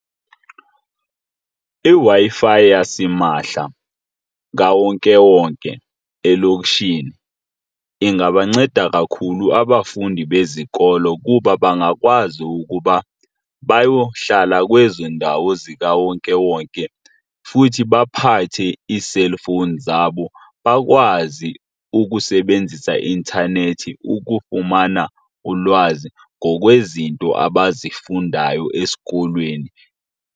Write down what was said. IWi-Fi yasimahla kawonkewonke elokishini ingabanceda kakhulu abafundi bezikolo. Kuba bangakwazi ukuba bayohlala kwezo ndawo zikawonkewonke futhi baphathe ii-cellphone zabo bakwazi ukusebenzisa i-intanethi ukufumana ulwazi ngokwezinto abazifundayo esikolweni.